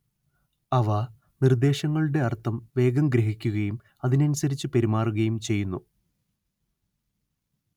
അവ നിർദ്ദേശങ്ങളുടെ അർത്ഥം വേഗം ഗ്രഹിക്കുകയും അതിനനുസരിച്ച് പെരുമാറുകയും ചെയ്യുന്നു